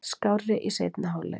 Skárri í seinni hálfleik.